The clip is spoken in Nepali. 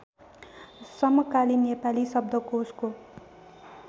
समकालीन नेपाली शब्दकोशको